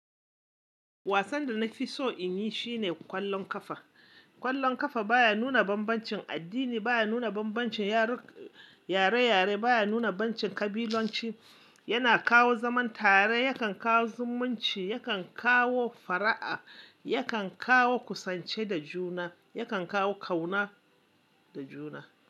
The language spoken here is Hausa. Wasan da na fi so in yi shine kwallon kafa. Kwallon kafa baya nuna bambancin addini, baya nuna bambancin yare-yare, baya nuna bambancin kabilanci, yana kawo zaman tare, yakan kawo zumunci, yakan kawo fara'a, yakan kawo kusanci da juna, yakan kawo ƙauna da juna.